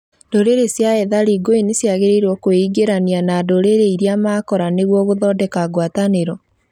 Ndũrĩrĩ cia ethari ngũĩ nĩciagĩrĩrĩirwo kwĩingĩrania na ndũrĩrĩ irĩa makora nĩguo gũthondeka ngwatanĩro